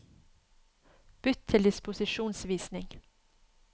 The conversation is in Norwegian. Bytt til disposisjonsvisning